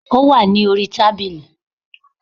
Ó wà ní orí tábìlì